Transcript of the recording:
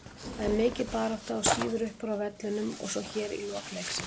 Það er mikil barátta og sýður uppúr á vellinum og svo hér í lok leiksins.